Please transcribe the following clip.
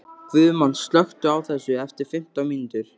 Guðmann, slökktu á þessu eftir fimmtán mínútur.